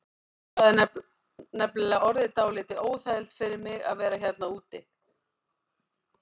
Það er nefnilega orðið dálítið óþægilegt fyrir mig að vera hérna úti.